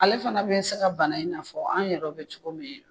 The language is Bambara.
Ale fana bɛ se ka bana in na fɔ an yɛrɛ bɛ cogo min !